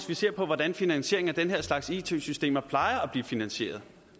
vi ser på hvordan finansieringen af den her slags it systemer plejer at blive finansieret